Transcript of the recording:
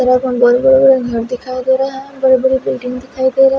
और एक बेरबेर है येऊ दिखाई दे रहे हैदो बड़े पेंटिंग दिखाई दे रहे है।